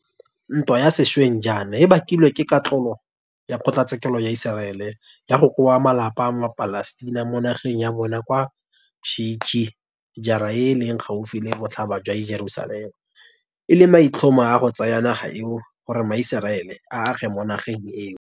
Ntwa ya sešweng jaana e bakilwe ke katlholo ya kgotlatshekelo ya Iseraele ya go koba malapa a maPalestina mo nageng ya bona kwa Sheikh Jarrah e e leng gaufi le Botlhaba jwa Jerusalema e le maitlhomo a go tsaya naga eo gore maIseraele a age mo nageng eo.